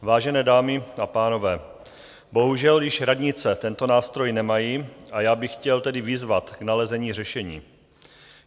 Vážené dámy a pánové, bohužel již radnice tento nástroj nemají, a já bych chtěl tedy vyzvat k nalezení řešení.